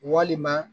Walima